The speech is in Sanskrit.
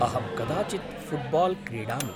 अहं कदाचित् फ़ुट्बाल् क्रीडामि।